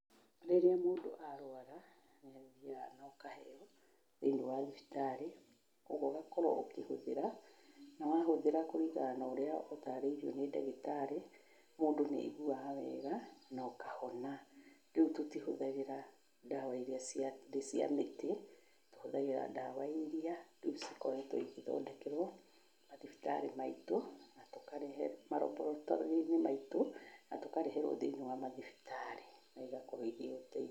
Rĩrĩa mũndũ arwara, nĩ athiaga na ũkaheo thĩ-inĩ wa thibitarĩ, koguo ũgakorwo ũkĩhũthĩra, na wahũthĩra kũringana na ũrĩa ũtarĩirio nĩ ndagĩtarĩ, mũndũ nĩ aiguaga wega na ũkahona, rĩu tũtihũthagĩra ndawa irĩa ciarĩ cia mĩtĩ, tũhũthagĩra ndawa iria rĩu cikoretwo igĩthondekerwo mathibitarĩ-inĩ maitũ, na tũkarehe maraboratorĩ-inĩ maitũ na tũkareherwo thĩ-inĩ wa mathibitarĩ na igakorwo irĩ ũteithio